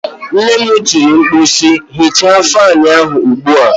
Nne m tiri mkpu si, hichaa fanụ ahụ ugbu a!